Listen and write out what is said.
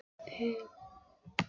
Má ég spyrja hvaða vinna það er?